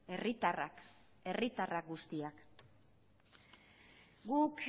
herritarrak herritarrak guztiak guk